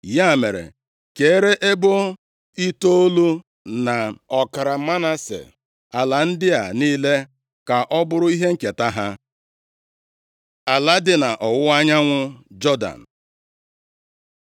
Ya mere, kere ebo itoolu, na ọkara Manase, ala ndị a niile, ka ọ bụrụ ihe nketa ha.” Ala dị nʼọwụwa anyanwụ Jọdan